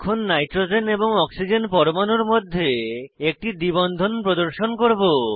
এখন নাইট্রোজেন এবং অক্সিজেন পরমাণুর মধ্যে একটি দ্বি বন্ধন প্রদর্শন করব